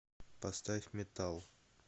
поставь метал